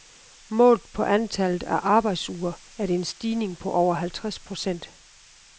Målt på antallet af arbejdsuger er det en stigning på over halvtreds procent.